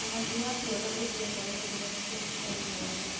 Ũhoti wa kuona ũthiaga wongererekete harĩ mwana